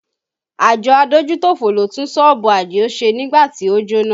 Àjọ adójútòfò ló tún sọ́ọ̀bù Adio ṣe nígbà tí ó jóná